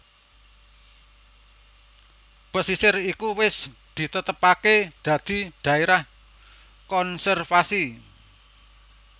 Pasisir iku wis ditetepaké dadi dhaérah konservasi